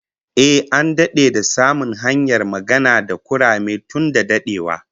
Ehh, an dade da samun hanyar magana da kurame tun da dadewa